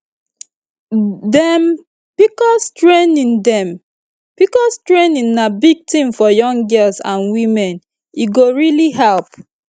dem pcos training dem pcos training na big thing for young girls and women e go really help